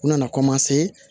U nana